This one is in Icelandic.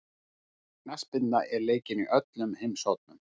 Knattspyrna er leikin í öllum heimshornum.